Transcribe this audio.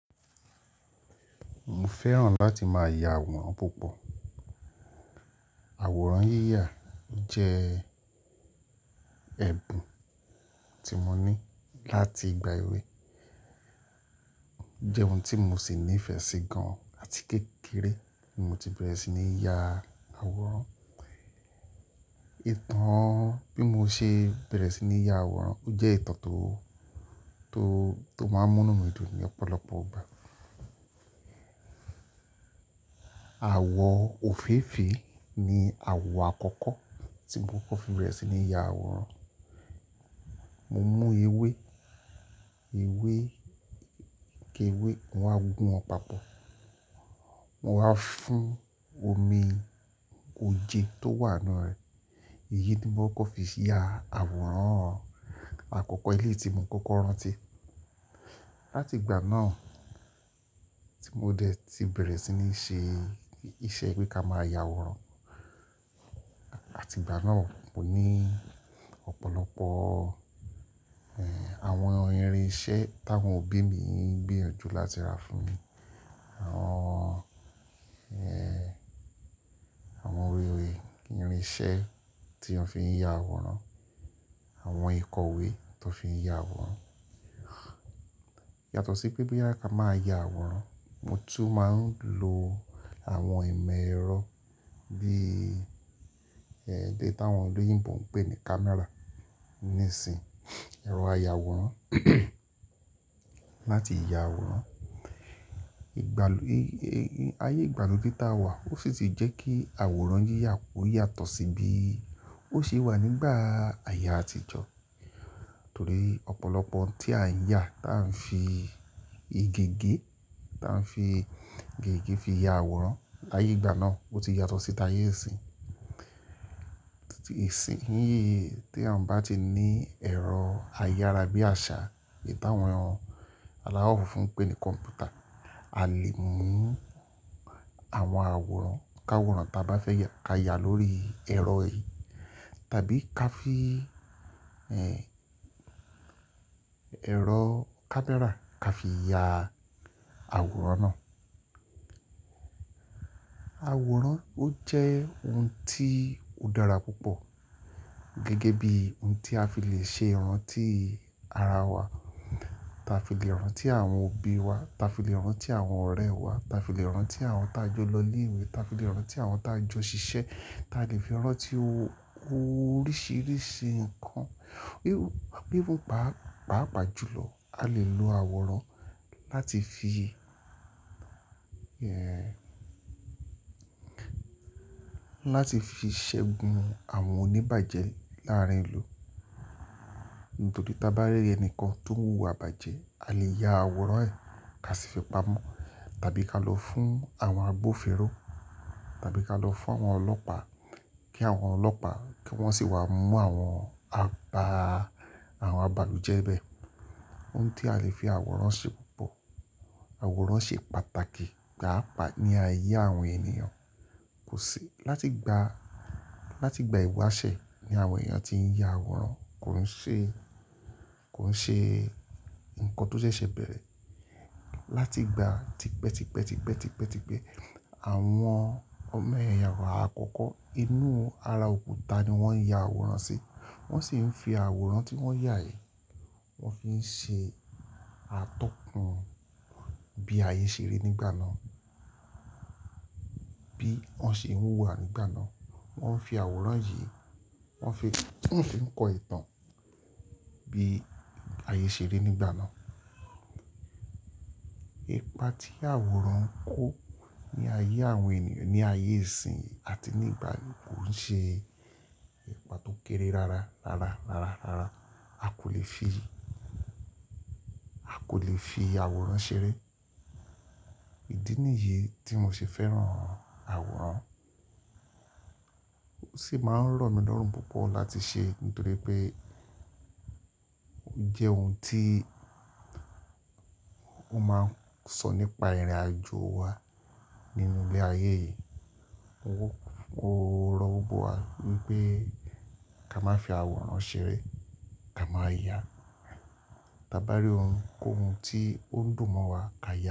Mo fẹ́ràn láti máa ya àwòrán púpọ̀. Àwòrán yíyà jẹ́ ẹ̀bùn tí mo ní láti ìgbà èwe, jẹ́ ohun tí mo sì nífẹ̀ẹ́ sí gan-an àti kékeré mo tí bẹ̀rẹ̀ sí ní ya àwòrán. Ìtàn bí mo ṣe bẹ̀rẹ̀ sí ní ya àwòrán, ó jẹ́ ìtàn tó, tó, tó máa ń mú mí dùn lọ́pọ̀lọpọ̀ ìgbà. Àwọ̀ òféèfé ni àwọ̀ àkọ́kọ́ tí mo kọ́ fi bẹ̀rẹ̀ sí ní ya àwòrán. Mo mú ewé, ewé, ewé, mo máa gún wọn papọ̀, mo máa fún omi oje tó wà nínú rẹ̀. Èyí ni mo kọ́ fi ya àwòrán àkọ́kọ́ elé ti mo kọ́kọ́ rántí. Láti ìgbà náà tí mo dẹ̀ ti bẹ̀rẹ̀ sí ní ṣe iṣẹ́ pé ká máa ya àwòrán àti ìgbà náà, mo ní ọ̀pọ̀lọpọ̀ eh àwọn irin iṣẹ́ táwọn òbí mi ń gbìyànjú láti rà fún mi. Àwọn eh àwọn ewé ewé irin iṣẹ́ tí wọ́n fi ń ya àwòrán, àwọn ìkọ̀wé tó fi ń ya àwòrán. Yàtọ̀ sí pé bóyá ka máa ya àwòrán, mo tún máa ń lo àwọn ìmọ̀ ẹ̀rọ bí eh eléyìí táwọn olóyìnbo ń pè ní camera ní ìsìn, ẹ̀rọ aya àwòrán láti ya àwòrán. Ìgbàlódé, ayé ìgbàlódé táa wà ó sì jẹ́ kí àwòrán yíyà ó yàtọ̀ sí bí ó ṣe wà nígbà àyè àtijọ́. Nítorí ọ̀pọ̀lọpọ̀ ohun tí a ń ya tí à ń fi igi igi, tí à ń fi giigi fi ya àwòrán láyé ìgbà náà ó ti yàtọ̀ sí t'ayé ìsín. Ìsìn yí tí èèyàn bá ti ní ẹ̀rọ ayára bí àṣá, èyí táwọn aláwọ̀ funfun ń pè ní kọ̀m̀pútà, a lè mú àwọn àwòrán, káwòrán ta bá fẹ́ ya ká ya lórí ẹ̀rọ yìí tàbí ká fi eh ẹ̀rọ camera ká fi ya àwòrán náà. Àwòrán ó jẹ́ ohun tí ó dára púpọ̀, gẹ́gẹ́ bí ohun tí a fi lè ṣe ìrántí ara wa, ta fi lè rántí àwọn òbí wa, ta fi lè rántí àwọn ọ̀rẹ́ wa, ta fi lè rántí àwọn tá jọ lọ ilé ìwé, ta fi lè rántí àwọn tá jọ ṣiṣẹ́, ta lè fi rántí oríṣiríṣi nǹkan. Bí, bí ó bá pàájù lọ a lè lo àwòrán láti fi eh láti fi ṣẹ́gun àwọn oníbàjẹ́ láàárín ìlú. Nítorí tí a bá rí ẹnìkan tó ń wú wà bá jẹ a lè ya àwòrán ẹ̀ ká fi fi pamọ́ tàbí ká lọ fún àwọn agbófinró tàbí ká lọ fún àwọn ọlọ́pàá kí àwọn ọlọ́pàá kí wọ́n sì wá mú àwọn àgbá, àwọn àbàlùjẹ́ bẹ́ẹ̀. Ohun tí a lè fi àwòrán ṣe pọ̀. Àwòrán ṣe pàtàkì pàápàá ní ayé àwọn ènìyàn. Kò sí, láti ìgbà, láti ìgbà ìwáṣẹ̀ ni àwọn ènìyàn tí ń ya àwòrán. Kòún ṣe, kòún ṣe nǹkan tó ṣeṣe bẹ̀rẹ̀. Láti ìgbà t'ípẹ́ t'ípẹ́ t'ípẹ́ t'ípẹ́ t'ípẹ́, àwọn ọmọ ẹ̀yà àwọ̀ àkọ́kọ́ inú ara òkúta ni wọ́n ń ya àwòrán sí. Wọ́n sì ń fi àwòrán tí wọ́n yà yìí, wọ́n fi ń ṣe àtọ́kùn bí ayé ṣe rí nígbà náà. Bí wọ́n ṣe ń wùwà nígbà náà. Wọ́n fi àwòrán yìí, wọ́n fi, wọ́n fi ń kọ ìtàn bí ayé ṣe rí nígbà náà. Ìpà tí àwòrán ń kó ní ayé àwọn ènìyàn ní ayé ìsín àti nígbà yìí kò ń ṣe ìpà tó kéré rara, rara, rara, rara. A kò lè fi, a kò lè fi àwòrán ṣeré. Ìdí nìyí tí mo ṣe fẹ́ràn àwòrán. Ó sì máa ń ràn mí lọ́rùn púpọ̀ láti ṣe, nítorí pé ó jẹ́ ohun tí ó máa ń sọ nípa ìrìnàjò wa nínú ilé ayé yìí. Mo rọ gbogbo wa wípé ká má fi àwòrán ṣeré, ká máa yà. Tí a bá rí ohun, kó ohun tí ó dùn mọ́ wa ká yà.